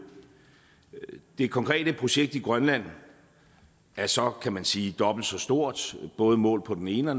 det konkrete projekt i grønland er så kan man sige dobbelt så stort både målt på den ene og